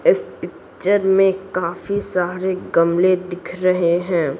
इस पिक्चर में काफी सारे गमले दिख रहे है।